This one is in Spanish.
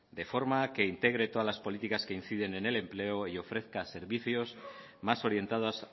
de forma que integre todas las políticas que indicen en el empleo y ofrezca servicios más orientados